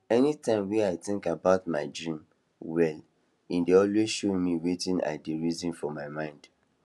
anytime wey i think about my dream well e dey always show me wetin i dey reason for my mind